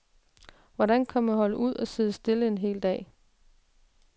Hvordan kan man holde ud at sidde stille en hel dag?